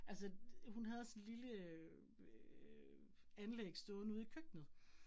Altså hun havde sådan lille øh anlæg stående ude i køkkenet